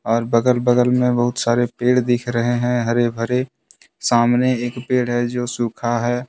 और बगल -बगल में बहुत सारे पेड़ दिख रहे हैं हरे- भरे सामने एक पेड़ है जो सुखा है।